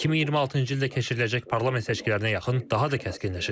Və 2026-cı ildə keçiriləcək parlament seçkilərinə yaxın daha da kəskinləşəcək.